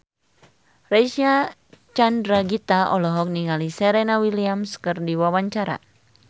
Reysa Chandragitta olohok ningali Serena Williams keur diwawancara